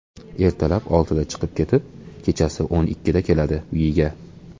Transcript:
Ertalab oltida chiqib ketib, kechasi o‘n ikkida keladi uyiga.